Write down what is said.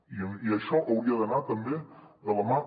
i això hauria d’anar també de la mà